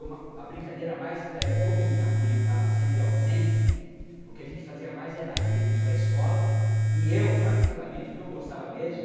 Uma brincadeira mais, é... como minha mãe estava sempre ausente, o que a gente fazia mais era ir para a escola e eu, particularmente, o que eu gostava mesmo,